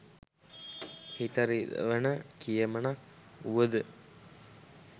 හිත රිදවෙන කියමනක් වුවද